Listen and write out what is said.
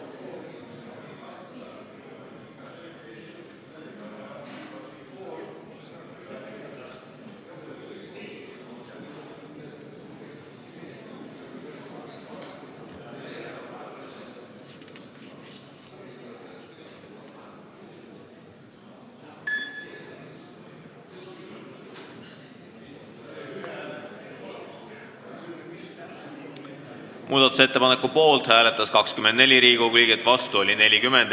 Hääletustulemused Muudatusettepaneku poolt hääletas 24 Riigikogu liiget, vastu oli 40.